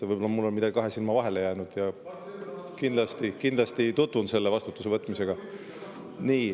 Võib-olla mul on midagi kahe silma vahele jäänud ja ma kindlasti tutvun selle vastutuse võtmisega.